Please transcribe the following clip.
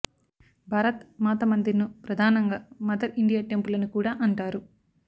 భారత్ మాత మందిర్ ను ప్రధానంగా mother India temple అని కూడా అంటారు